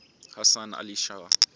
hasan ali shah